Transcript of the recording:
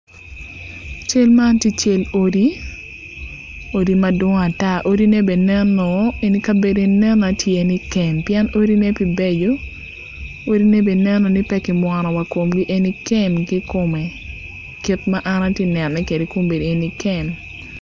Cel man tye cal odi odine neno ni odi kem pien kabedone pe beco odine neno ni pe ki mwono komgi eni neno ni kem kikome kit man an atye kaneno kwede eni kem.